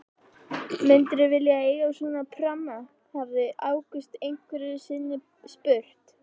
Myndirðu vilja eiga svona pramma? hafði Ágúst einhverju sinni spurt.